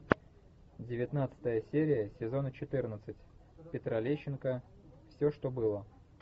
девятнадцатая серия сезона четырнадцать петра лещенко все что было